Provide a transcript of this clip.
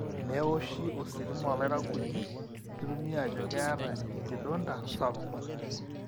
neoshi ositima olairakuji netumi ajo keeta enkidonda sapuk